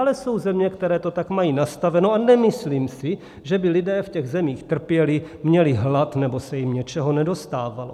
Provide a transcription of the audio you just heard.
Ale jsou země, které to tak mají nastaveno, a nemyslím si, že by lidé v těch zemích trpěli, měli hlad nebo se jim něčeho nedostávalo.